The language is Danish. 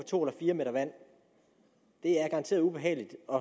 to eller fire meter vand det er garanteret ubehageligt og